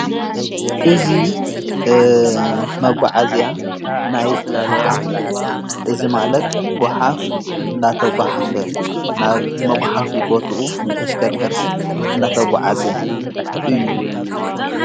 እዙ መጕዓእልያ ናይ ጐሃፍ እዝ ማለት ጐሃፍ ናናብ መጕኃፊ ቦትኡ ብተሽከርከርቲ እናተ ጐዓዘ እዩ።